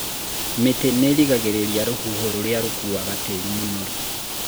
mĩtĩ nĩrĩngangĩrĩria rũhuho rũria rũkuaga tĩri mũnoru